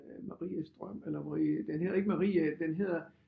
Øh Maries drøm eller Marie den hedder ikke Marie den hedder